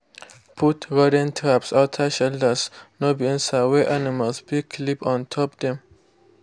put rodent traps outside shelters_ no be inside wey animals fit clip on top dem.